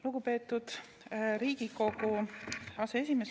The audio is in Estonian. Lugupeetud Riigikogu aseesimees!